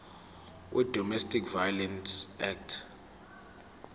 wedomestic violence act